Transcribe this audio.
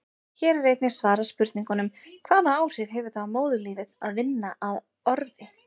Hér er einnig svarað spurningunum: Hvaða áhrif hefur það á móðurlífið að vinna á orfi?